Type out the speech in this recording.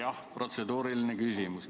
Jah, protseduuriline küsimus.